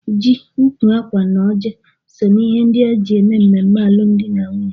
Ji, ukwu akwa na ọjị so na ihe ndị eji eme ememme alụmdi na nwunye.